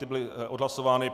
Ty byly odhlasovány.